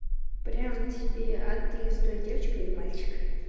прямо тебе а ты стой девочка или мальчик